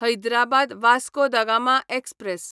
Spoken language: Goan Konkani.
हैदराबाद वास्को दा गामा एक्सप्रॅस